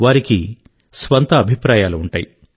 వారికి స్వంత అభిప్రాయాలు ఉంటాయి